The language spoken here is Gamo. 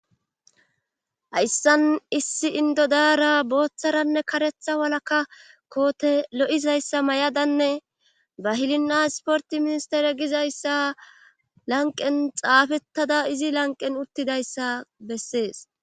hayssan issi indodaara booththaranne karetha walaka koote lo7izayssa may7adanne ba hilinna sporti ministere gizayssa lanqen xaafettada izi lanqen uttidayssa bessees